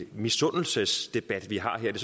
misundelsesdebat vi har her det